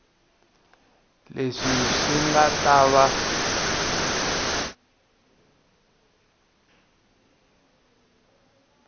leswi swi nga ta va